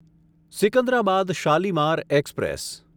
Secunderabad Shalimar express